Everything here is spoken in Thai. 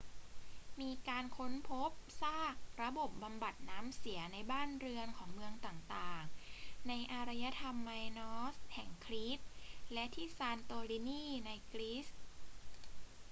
มีการค้นพบซากระบบบำบัดน้ำเสียในบ้านเรือนของเมืองต่าง ๆ ในอารยธรรมไมนอสแห่งครีตและที่ซานโตรินีในกรีซ